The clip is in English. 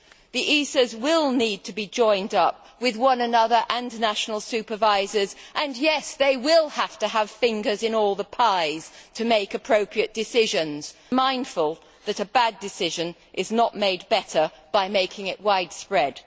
The ESAs will need to be joined up with one another and with national supervisors and they will indeed have to have fingers in all the pies to make appropriate decisions, mindful that a bad decision is not made better by making it widespread.